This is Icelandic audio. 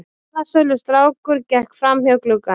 Blaðsölustrákur gekk framhjá glugganum.